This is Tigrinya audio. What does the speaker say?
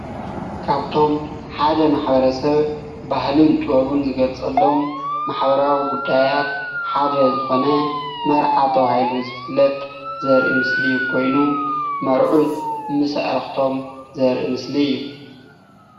ካብቶም ሓደ ማሕበረሰብ ባህሉን ጥበቡን ዝገልፅሎም ማሕበራዊ ጉዳያት ሓደ ዝኮነ መርዓ ተባሂሉ ዝፍለጥ ዘረኢ ምስሊ ኮይኑ መርዑት ምስ ኣዕርክቶም ዘረኢ ምስሊ እዩ::